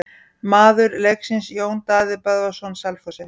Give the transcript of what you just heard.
Maður leiksins: Jón Daði Böðvarsson Selfossi.